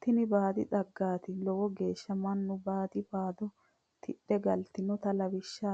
tini baadi xaggati lowo geeshsha mannu baadi baado tidhe galinote lawishsha